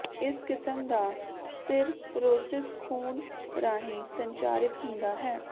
ਇਸ ਕਿਸਮ ਦਾ ਸਿਰਰੋਸਿਸ ਖੂਨ ਰਾਹੀਂ ਸੰਚਾਰਿਤ ਹੁੰਦਾ ਹੈ